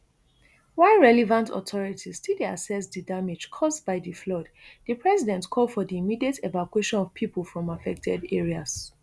while relevant authorities still dey assess di damage cause by di flood di president call for di immediate evacuation of pipo from affected areas